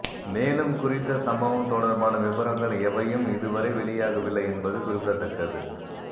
மேலும் குறித்த சம்பவம் தொடர்பான விபரங்கள் எவையும் இதுவரை வெளியாகவில்லை என்பது குறிப்பிடத்தக்கது